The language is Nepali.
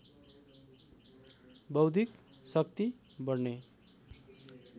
बौद्धिक शक्ति बढ्ने